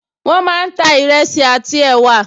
Wọ́n máa ń ta ìrẹsì àti ẹ̀wà